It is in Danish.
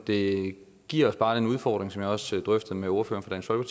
det giver os bare den udfordring som jeg også drøftede med ordføreren for